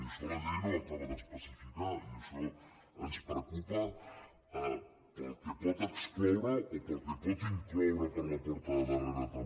i això la llei no ho acaba d’especificar i això ens preocupa pel que pot excloure o pel que pot incloure per la porta de darrere també